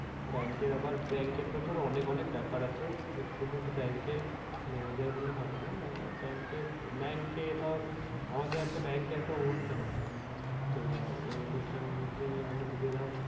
Bank এর আবার bank এর তো ধর অনেক অনেক অনেক ব্যাপার আছে শুধু তো bank এর manager হলে হবে না। bank এ bank এ ধর আমাদের একটা bank এ একটা অনুষ্ঠান আছে। তো এবার ওই অনুষ্ঠানতে আমাদেরকে ধর